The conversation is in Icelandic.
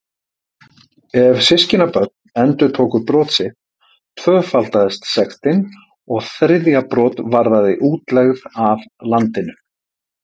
Ef systkinabörn endurtóku brot sitt tvöfaldaðist sektin og þriðja brot varðaði útlegð af landinu.